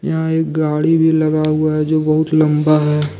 यहां एक गाड़ी भी लगा हुआ है जो बहुत लंबा है।